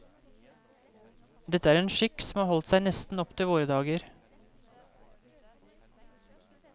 Dette er en skikk som har holdt seg nesten opptil våre dager.